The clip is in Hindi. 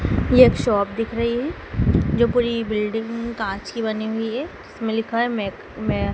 यह एक शॉप दिख रही है जो पूरी बिल्डिंग कांच की बनी हुई है जिसमें लिखा है मेक मै--